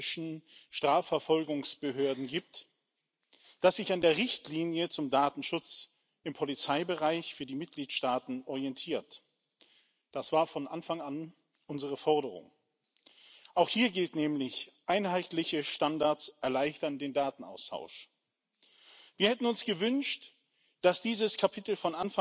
Přestože instituce EU v oblasti ochrany osobních dat patří mezi ty velmi důsledné, je potřeba i s touto legislativou poměrně důsledně pracovat a je potřeba ji vysvětlovat, a proto jsem rád,